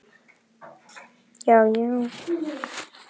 Ég veit ekki hvort ég er gáfuð.